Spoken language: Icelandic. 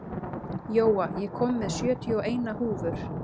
Jóa, ég kom með sjötíu og eina húfur!